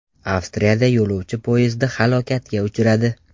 Avstriyada yo‘lovchi poyezdi halokatga uchradi.